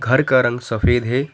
घर का रंग सफेद है।